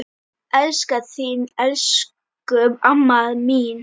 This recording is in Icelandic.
Elska þig elsku amma mín.